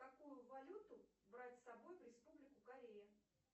какую валюту брать с собой в республику корея